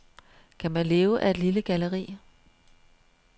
Kan man leve af et lille galleri?